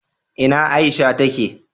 ina Aisha ta ke?